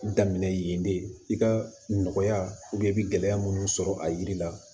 Daminɛ yen de i ka nɔgɔya i bɛ gɛlɛya minnu sɔrɔ a yiri la